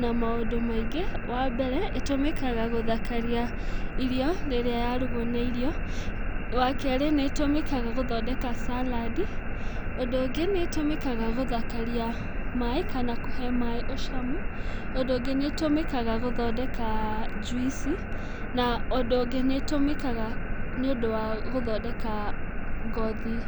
na maũndũ maingĩ, wa mbere, ĩtũmĩkaga gũthakaria irio, rĩrĩa yarugwo na irio. Wa kerĩ, nĩ ĩtũmĩkaga gũthondeka salad, ũndũ ũngĩ gũthakaria maĩ, kana kũhe maĩ ũcamu, ũndũ ũngĩ nĩ ĩtũmĩkaga gũthondeka juici, na ũndũ ũngĩ nĩ ĩtũmĩkaga nĩ ũndũ wa gũthondeka ngothi.